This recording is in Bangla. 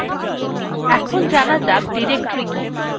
এখন জানা যাক directory কি